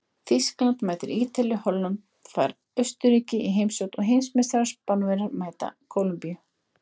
Þýskaland mætir Ítalíu, Holland fær Austurríki í heimsókn og heimsmeistarar Spánverjar mæta Kólumbíu.